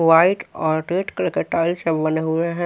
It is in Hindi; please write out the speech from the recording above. व्हाइट और रेड कलर के टाइल से बने हुए हैं।